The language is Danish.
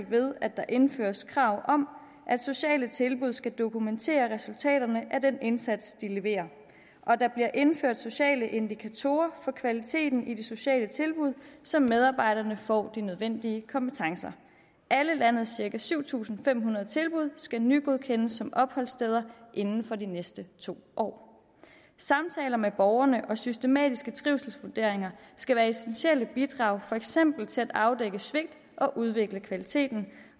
ved at der indføres krav om at sociale tilbud skal dokumentere resultaterne af den indsats de leverer og der bliver indført sociale indikatorer for kvaliteten af de sociale tilbud så medarbejderne får de nødvendige kompetencer alle landets cirka syv tusind fem hundrede tilbud skal nygodkendes som opholdssteder inden for de næste to år samtaler med borgerne og systematiske trivselsvurderinger skal være essentielle bidrag for eksempel til at afdække svigt og udvikle kvaliteten